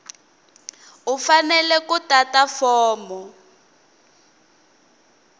u fanele ku tata fomo